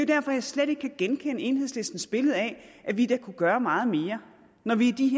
derfor jeg slet ikke kan genkende enhedslistens billede af at vi da kunne gøre meget mere når vi i de